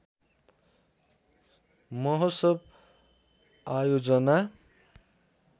महोत्सव आयोजना